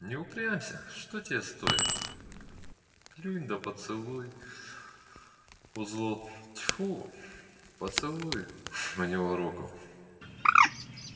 не упрямься что тебе стоит плюнь да поцелуй у злод тьфу поцелуй у него руку